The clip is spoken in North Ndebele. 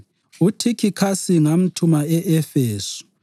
UThikhikhasi ngamthuma e-Efesu.